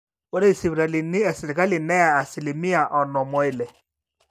ore isipitalini esirkali neya asilimia onom oile